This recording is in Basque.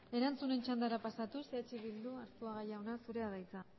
erantzunen txandara pasatuz eh bildu arzuaga jauna zurea da hitza